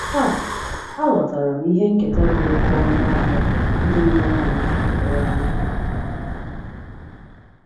Taa, aghọtaram ihe nketa dị oke ọnụ ahịa ndị mụrụ anyị hapụrụ anyị.